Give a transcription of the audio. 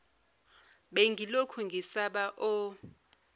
bengilokhu ngisaba o